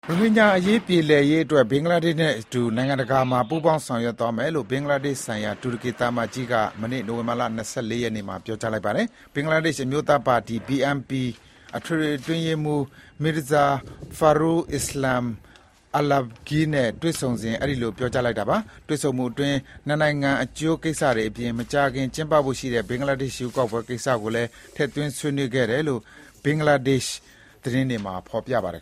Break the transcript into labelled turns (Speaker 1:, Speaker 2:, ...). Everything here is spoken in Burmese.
Speaker 1: ရိုဟင်ဂျာအရေးပြေလည်စေဖို့ ဘင်္ဂလားဒေ့ရှ်နဲ့အတူ နိုင်ငံတကာအဆင့်မှာ ပူးပေါင်း ဆောင်ရွက်သွား မယ်လို့ ဘင်္ဂလားဒေ့ရှ်ဆိုင်ရာ တူရကီသံအမတ်ကြီးက မနေ့ နိုဝင်ဘာ ၂၄ ရက်နေ့မှာ ပြောလိုက်ပါတယ်။ ဘင်္ဂလားဒေ့ရှ် အမျိုးသားပါတီ(BNP) ထွေထွေအတွင်းရေးမှူး Mirza Fakhrul Islam Alamgir နဲ့ တွေ့ဆုံစဉ် အဲဒီလို ပြောကြားလိုက်တာပါ။ တွေ့ဆုံမှုအတွင်း နှစ်နိုင်ငံအကျိုးကိစ္စတွေအပြင် မကြာခင်ကျင်းပဖို့ရှိတဲ့ ဘင်္ဂလားဒေ့ရှ်ရွေးကောက်ပွဲ ကိစ္စတွေကိုလည်းဆွေးနွေးခဲ့တယ်လို့ ဘင်္ဂလားဒေ့ရှ် သတင်းတွေမှာ ဖော်ပြပါတယ်